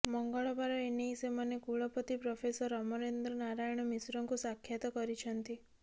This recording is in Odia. ମଙ୍ଗଳବାର ଏନେଇ ସେମାନେ କୁଳପତି ପ୍ରଫେସର ଅମରେନ୍ଦ୍ର ନାରାୟଣ ମିଶ୍ରଙ୍କୁ ସାକ୍ଷାତ କରିଛନ୍ତି